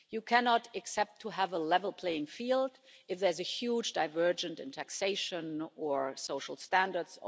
You cannot accept to have a level playing field if there's a huge divergence in taxation or social standards or environmental standards.